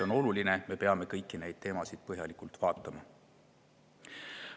Aga oluline on, et me peame kõiki neid teemasid põhjalikult vaatama.